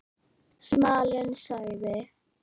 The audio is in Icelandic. Smalinn sagði